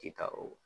Ti taa o